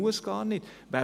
Man muss es nicht tun.